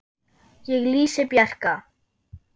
Ég lýsi Bjarka